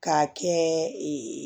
K'a kɛ